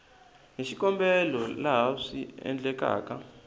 hi xikombelo laha swi endlekaka